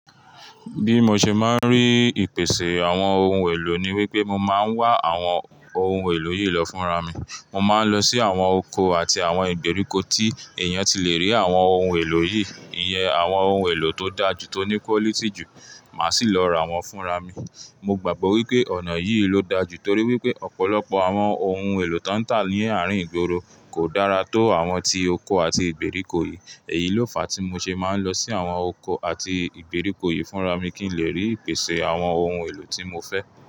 Bí mo ṣe máa ń rí ìpèsè àwọn ohun èlò ni wípé mọ máa ń wá àwọn ohun èlò yìí lọ fún ra mi. Mo máa ń lọ sí àwọn oko àti àwọn ìgbèríko tí èèyàn ti le rí àwọn ohun èlò yìí, iyẹn àwọn ohun èlò tó dá ju, tó ní quality ju, màá sì lọ ra wọ́n fún ra mi. Mo gbàgbọ́ wípé ọ̀nà yìí ló dáa jù torí wípé ọ̀pọ̀lọpọ̀ àwọn ohun èlò tó ń tà ní àárín ìgboro kò dára tó àwọn tí oko àti ìgbèríko yìí. Èyí ló fàá tí mo ṣe máa ń lọ sí àwọn oko àti ìgbèríko yìí fún ra mi kí n lè rí ìpèsè àwọn ohun èlò tí mo fẹ́